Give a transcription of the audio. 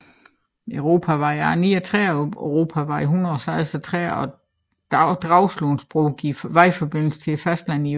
Europavej E39 og Europavej E136 og Dragsundbroen giver vejforbindelse til fastlandet i øst